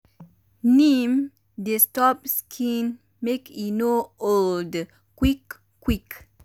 neem dey stop skin make e no old quick um quick